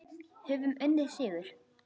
Höfum unnið sigur.